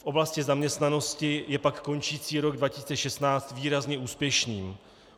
V oblasti zaměstnanosti je pak končící rok 2016 výrazně úspěšný.